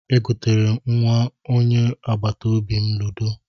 E goteere m nnwa onye agbataobi m ludo